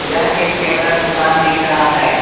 यह एक कैमरा दुकान दिख रहा है।